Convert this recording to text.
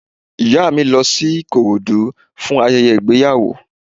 Ìyá mi lọ sí Ìkòròdú fún ayẹyẹ ìgbéyàwó